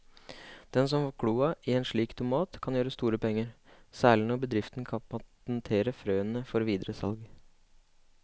Den som får kloa i en slik tomat kan gjøre store penger, særlig når bedriften kan patentere frøene før videre salg.